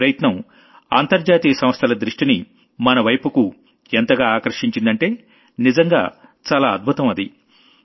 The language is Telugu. ఈ ప్రయత్నం అంతర్జాతీయ సంస్థల దృష్టిని మనవైపుకు ఎంతగా ఆకర్షించిందంటే నిజంగా చాలా అద్భుతం అది